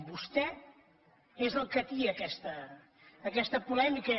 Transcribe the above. vostè és el que atia aquesta polèmica